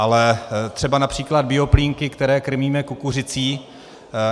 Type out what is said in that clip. Ale třeba například bioplínky, které krmíme kukuřicí.